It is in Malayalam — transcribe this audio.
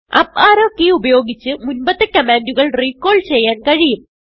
അപ്പ് അറോ കെയ് ഉപയോഗിച്ച് മുൻപത്തെ കമാൻഡുകൾ റിക്കാൾ ചെയ്യാൻ കഴിയും